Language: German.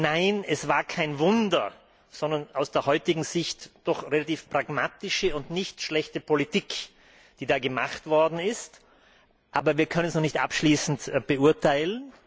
Nein, es war kein Wunder, sondern aus heutiger Sicht doch relativ pragmatische und nicht schlechte Politik, die da gemacht worden ist, aber wir können es noch nicht abschließend beurteilen.